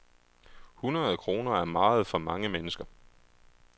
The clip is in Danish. Hundrede kroner er meget for mange mennesker.